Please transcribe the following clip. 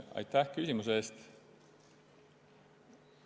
Aitäh küsimuse eest!